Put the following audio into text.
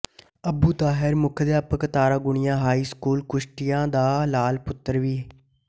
ਅਬੂ ਤਾਹਿਰ ਮੁੱਖ ਅਧਿਆਪਕ Taragunia high school Kushtia ਦਾ ਲਾਲ ਪੁੱਤਰ ਵੀ